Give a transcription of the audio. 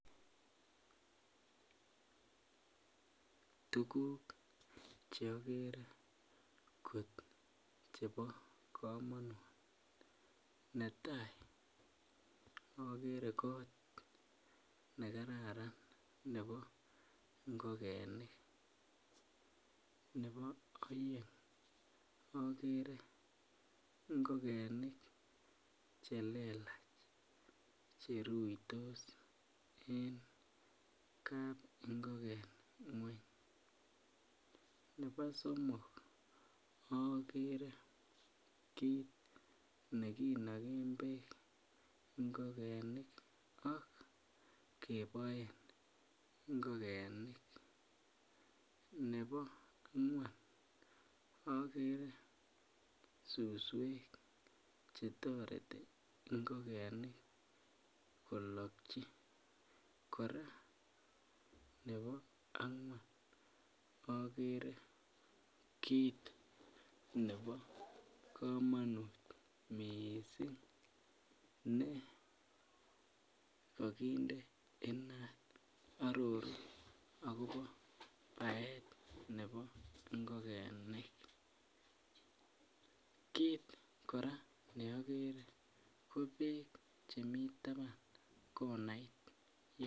Tuguk che akere kot chebo komonut .Netai akere kot nekararan ne bo ngokenik ,ne bo aeng akere ngokenik chelelach cheruitos en kap ngoken ngweny ,ne bo somok akere kit nekinoken beek ngokenik ak keboen ngokenik ,ne bo angwan akere suswek chetoreti ngokenik kolokyi kora ne bo angwan akere kit ne bo komonut kot miissing ne kokindee inat aroruu akopo baet nebo ngokenik, kit kora neakere kobeek chemii tapan konait.